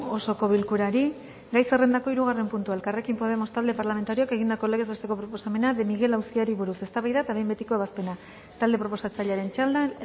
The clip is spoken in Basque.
osoko bilkurari gai zerrendako hirugarren puntua elkarrekin podemos talde parlamentarioak egindako legez besteko proposamena de miguel auziari buruz eztabaida eta behin betiko ebazpena talde proposatzailearen txandan